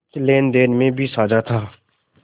कुछ लेनदेन में भी साझा था